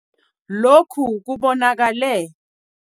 Lokhu kubonakale.